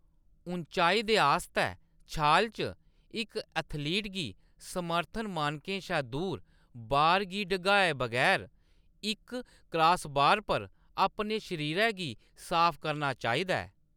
ऊचाई दे आस्तै छाल च, इक एथलीट गी समर्थन मानकें शा दूर बार गी डगाए बगैर इक क्रासबार पर अपने शरीरै गी साफ करना चाहिदा ऐ।